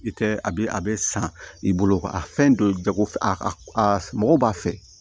I tɛ a bɛ a bɛ san i bolo a fɛn don jago a mɔgɔ b'a fɛ